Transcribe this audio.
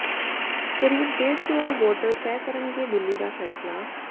ਕਰੀਬ ਢੇਡ ਕਰੋੜ ਵੋਟਰ ਤੈਅ ਕਰਨਗੇ ਦਿੱਲੀ ਦਾ ਫੈਸਲਾ